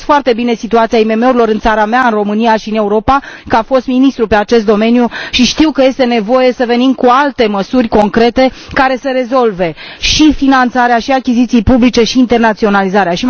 Cunosc foarte bine situația IMM urilor în țara mea, în România, și în Europa, ca fost ministru pe acest domeniu și știu că este nevoie să venim cu alte măsuri concrete care să rezolve și finanțarea, și achizițiile publice și internaționalizarea.